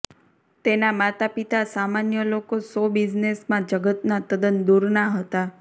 તેના માતાપિતા સામાન્ય લોકો શો બિઝનેસમાં જગતના તદ્દન દૂરના હતા